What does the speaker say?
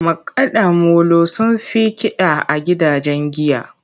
Makada molo sun fi Kida a gidajen giya.